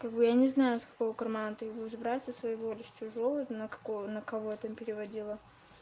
кого я не знаю с какого кармана ты будешь брать со своего или с чужого на кого на кого там переводила